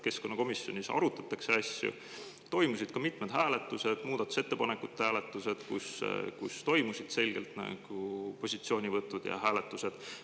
Keskkonnakomisjonis arutati asju, toimusid mitmed hääletused, muudatusettepanekute hääletused, kus olid selged positsioonivõtud ja hääletused.